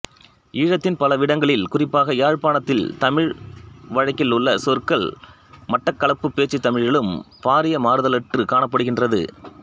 ஈழத்தின் பலவிடங்களில் குறிப்பாக யாழ்ப்பாணத்துத் தமிழ் வழக்கிலுள்ள சொற்கள் மட்டக்களப்புப் பேச்சுத் தமிழிலும் பாரிய மாறுதலற்றுக் காணப்படுகின்றது